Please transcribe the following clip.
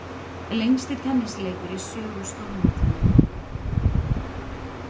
Lengsti tennisleikur í sögu stórmótanna